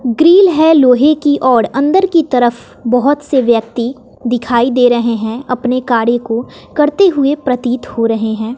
Grill है लोहे की और अंदर की तरफ बहोत से व्यक्ति दिखाई दे रहे हैं अपने कार्य को करते हुए प्रतीत हो रहे हैं।